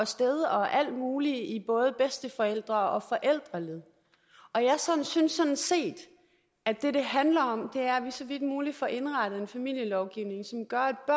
sted og alt muligt i både bedsteforældre og forældreled og jeg synes sådan set at det det handler om er at vi så vidt muligt får indrettet en familielovgivning som gør at